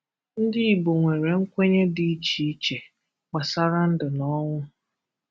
Ndị Igbo nwere nkwenye dị iche iche gbasara ndu na ọnwụ.